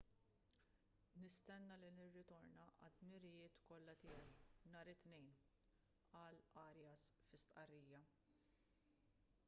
nistenna li nirritorna għad-dmirijiet kollha tiegħi nhar it-tnejn qal arias fi stqarrija